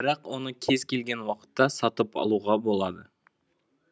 бірақ оны кез келген уақытта сатып алуға болады